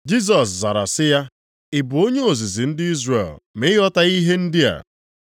Jisọs zara sị ya, “Ị bụ onye ozizi ndị Izrel, ma ị ghọtaghị ihe ndị a?